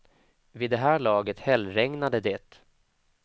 Vid det här laget hällregnade det.